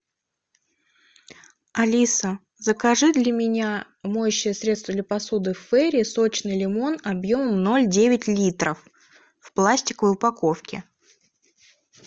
алиса закажи для меня моющее средство для посуды фейри сочный лимон объемом ноль девять литров в пластиковой упаковке